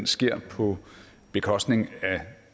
sker på bekostning af